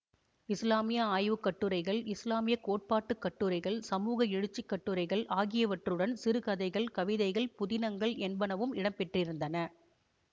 இசுலாமிய ஆய்வு கட்டுரைகள் இசுலாமிய கோட்பாட்டுக் கட்டுரைகள் சமூக எழுச்சிக் கட்டுரைகள் ஆகியவற்றுடன் சிறுகதைகள் கவிதைகள் புதினங்கள் என்பனவும் இடம்பெற்றிருந்தன